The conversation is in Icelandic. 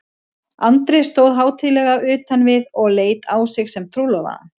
Andri stóð hátíðlega utan við og leit á sig sem trúlofaðan.